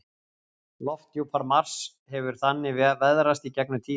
Lofthjúpur Mars hefur þannig veðrast í gegnum tíðina.